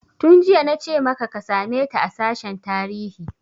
Tun jiya nace maka ka same ta a sashen tarihi!